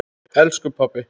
Elsku pabbi.